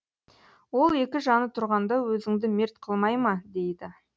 ол екі жаны тұрғанда өзіңді мерт қылмай ма дейді